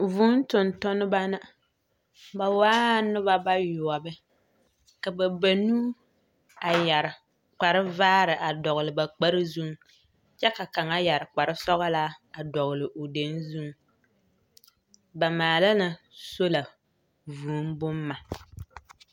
Vũũ tontnneba na. Ba waa noba bayoͻbe, ka ba banuu a yԑre kpare -vaare a dͻgele ba kpare zuŋ kyԑ ka kaŋa yԑre kpare-sͻgelaa a dͻgele o deŋ zuŋ. Ba maala la sola vũũ bomma.